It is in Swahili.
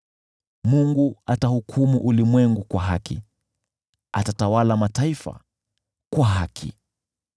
Mungu atahukumu ulimwengu kwa haki, atatawala mataifa kwa haki.